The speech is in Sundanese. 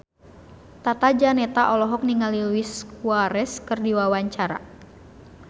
Tata Janeta olohok ningali Luis Suarez keur diwawancara